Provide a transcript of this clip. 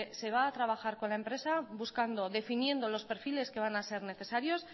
se va a trabajar con la empresa buscando y definiendo los perfiles que van a ser necesarios